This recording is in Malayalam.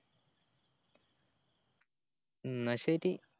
എന്ന ശെരി